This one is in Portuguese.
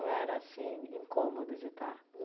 era, assim, incômodo de estar?